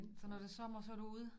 Så når det sommer så du ude